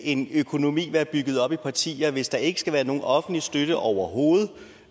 en økonomi være bygget op i partier hvis der ikke skal være nogen offentlig støtte overhovedet